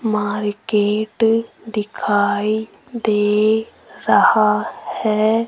Market दिखाई दे रहा है।